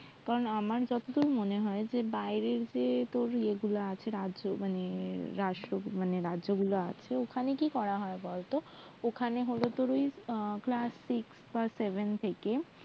কারণ আমার যতদূর মনে যে বাইরের যে রাজ্য গুলো আছে রাজ্য মানে রাষ্ট্র রাজ্য ওখানে কি করা হয় বলতো ওখানে ওই class six বা seven থেকে